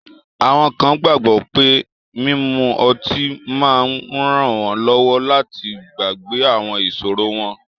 Awọn kan gbagbọ pe mimu ọti ma nranwọnlọwọ lati gbagbe awọn iṣoro wọn